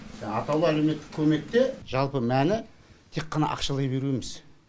жаңағы атаулы әлеуметтік көмекте жалпы мәні тек қана ақшалай беру емес